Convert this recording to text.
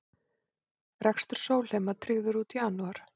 Rekstur Sólheima tryggður út janúar